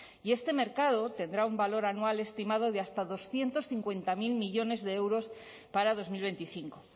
y este mercado tendrá un valor anual estimado de hasta doscientos cincuenta mil millónes de euros para dos mil veinticinco